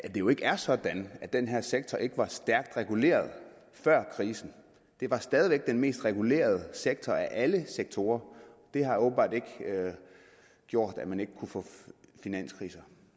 jo ikke er sådan at den her sektor ikke var stærkt reguleret før krisen det var stadig væk den mest regulerede sektor af alle sektorer det har åbenbart ikke gjort at man ikke kunne få finanskriser